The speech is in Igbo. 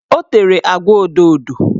O tere agwa odoodo